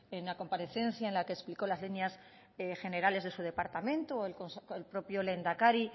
en la comparecencia en la que explicó las líneas generales de su departamento o el propio lehendakari